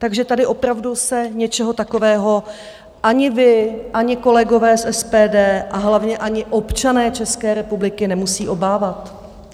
Takže tady opravdu se něčeho takového ani vy, ani kolegové z SPD a hlavně ani občané České republiky nemusíme obávat.